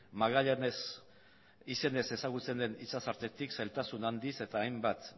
magallanes izenez ezagutzen den itsas tartetik zailtasun handiz eta hainbat